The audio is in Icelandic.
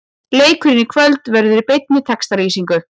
Leikurinn í kvöld verður í beinni textalýsingu.